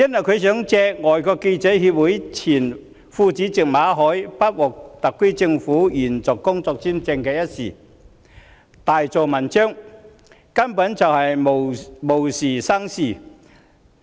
香港外國記者會前副主席馬凱不獲特區政府延續工作簽證，她想藉此大做文章，根本是無事生非。